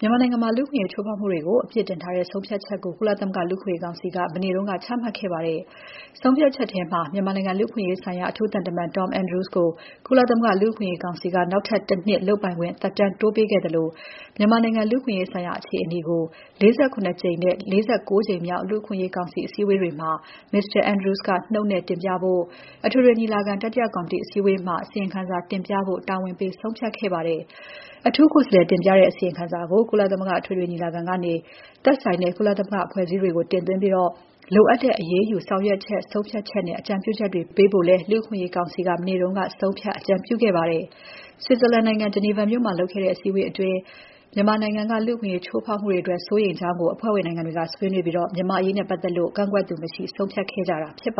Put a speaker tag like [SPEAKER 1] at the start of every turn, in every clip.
[SPEAKER 1] မြန်မာနိုင်ငံမှာ လူ့အခွင့်အရေး ချိုးဖောက်မှုတွေကို အပြစ်တင်ထားတဲ့ ဆုံးဖြတ်ချက်ကို ကုလသမဂ္ဂ လူ့အခွင့်အရေးကောင်စီက မနေ့က ချမှတ်လိုက်ပါတယ်။ ဆုံးဖြတ်ချက်မှာ မြန်မာနိုင်ငံ လူ့အခွင့်အရေးဆိုင်ရာ အထူးသံတမန် Tom Andrews ကို ကုလသမဂ္ဂလူ့အခွင့်အရေးကောင်စီက နောက်ထပ် ၁ နှစ်လုပ်ပိုင်ခွင့် သက်တမ်းတိုးပေးလိုက်သလို မြန်မာနိုင်ငံ လူ့အခွင့်အရေးဆိုင်ရာ အခြေအနေကို ၄၇ ကြိမ်နဲ့ ၄၉ ကြိမ်မြောက် လူ့အခွင့်အရေးကောင်စီ အစည်းအဝေးတွေမှာ Mr. Andrews ကနှုတ်နဲ့တင်ပြဖို့၊ အထွေထွေညီလာခံ တတိယကော်မတီအစည်းအဝေးမှာ အစီရင်ခံစာတင်ပြဖို့ တာဝန်ပေး ဆုံးဖြတ်လိုက်ပါတယ်။ အထူးကိုယ်စားလှယ်တင်ပြတဲ့ အစီရင်ခံစာကို ကုလသမဂ္ဂအထွေထွေညီလာခံကနေ သက်ဆိုင်တဲ့ ကုလသမဂ္ဂအဖွဲ့အစည်းတွေကို တင်သွင်းပြီး လိုအပ်တဲ့ အရေးယူဆောင်ရွက်ချက်၊ ဆုံးဖြတ်ချက်နဲ့ အကြံပြုချက်တွေပေးဖို့လည်း လူ့အခွင့်အရေးကောင်စီက မနေ့က ဆုံးဖြတ် အကြံပြုခဲ့ပါတယ်။ Switzerland နိုင်ငံ ဂျနီဗာမြို့မှာ လုပ်ခဲ့တဲ့ အစည်းဝေးပွဲအတွင်း မြန်မာနိုင်ငံက လူ့အခွင့်အရေးချိုးဖောက်မှုတွေအတွက် စိုးရိမ်ကြောင်း အဖွဲ့ဝင်နိုင်ငံတွေက ဆွေးနွေးပြီး မြန်မာ့အရေးနဲ့ပတ်သက်လို့ ကန့်ကွက်သူမရှိ ဆုံးဖြတ်ခဲ့ကြတာပါ။ စစ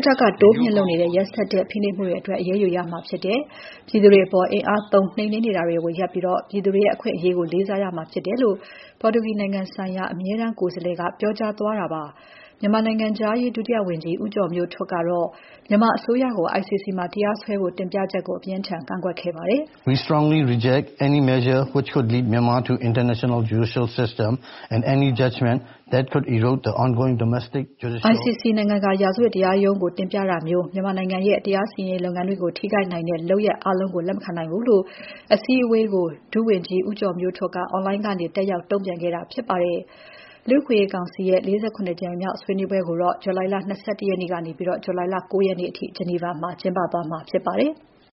[SPEAKER 1] ်တပ်က တိုးမြှင့်လုပ်နေတဲ့ ရက်စက်တဲ့ ဖိနှိပ်မှုတွေအတွက် အရေးယူရမှာဖြစ်တယ်။ ပြည်သူတွေအပေါ် အင်အားသုံးနှိမ်နင်းနေတာရပ်ပြီး ပြည်သူတွေရဲ့ အခွင့်အရေးကို လေးစားရမှာဖြစ်တယ်လို့ ပေါ်တူဂီနိုင်ငံဆိုင်ရာ အမြဲတန်းကိုယ်စားလှယ်က ပြောကြားသွားတာပါ။ မြန်မာနိုင်ငံနိုင်ငံခြားရေး ဒုဝန်ကြီး ဦးကျော်မျိုးထွန်းကတော့ မြန်မာအစိုးရကို ICC မှာတရားစွဲဖို့ တင်ပြချက်ကို အပြင်းအထန် ကန့်ကွက်ခဲ့ပါတယ်
[SPEAKER 2] ။ ICC
[SPEAKER 1] နိုင်ငံတကာ ရာဇဝတ်တရားရုံးကို တင်ပြတာမျိုး မြန်မာနိုင်ငံရဲ့ တရားစီရင်ရေးလုပ်ငန်းတွေကို ထိခိုက်နိုင်တဲ့ လုပ်ရပ်အားလုံးကို လက်မခံနိုင်ဘူးလို့ မြန်မာဘက်က တုံ့ပြန်ခဲ့တာဖြစ်ပါတယ်။ လူ့အခွင့်အရေးကောင်စီရဲ့ ၄၇ ကြိမ်မြောက် ဆွေးနွေးပွဲကို ဇွန် ၂၁ ရက်နေ ဇူလိုင် ၉ ရက်အထိ ဂျနီဗာမှာ ကျင်းပသွားမှာဖြစ်ပါတယ်။